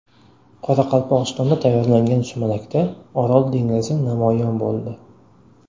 Qoraqalpog‘istonda tayyorlangan sumalakda Orol dengizi namoyon bo‘ldi.